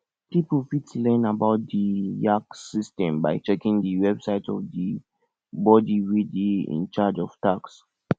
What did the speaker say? pipo fit learn about di yax system by checking di website of di body wey dey in charge of tax